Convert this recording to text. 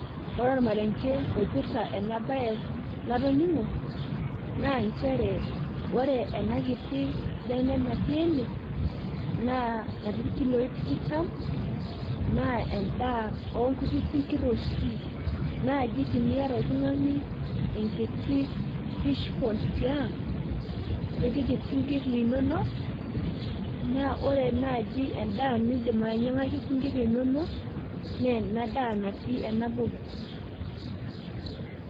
Ore ormarenke oipirta ena bae natoningo naa ore enakiti bene natii ene natii irkiloi tikitam naa endaa oonoshi kuti sinkirr. Naaji tiniata oltungani enkiti fishpond tiang nipik isinkir linonok naa ore naaji endaa nindim ainyiangaki isinkir linono naa ena daa natii ena posiks